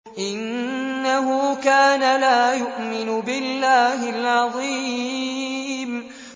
إِنَّهُ كَانَ لَا يُؤْمِنُ بِاللَّهِ الْعَظِيمِ